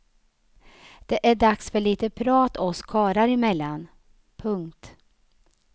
Det är dags för lite prat oss karlar emellan. punkt